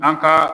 An ka